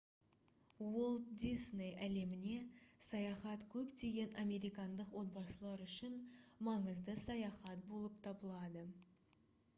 уолт дисней әлеміне саяхат көптеген американдық отбасылар үшін маңызды саяхат болып табылады